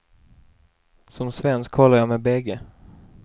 Som svensk håller jag med bägge.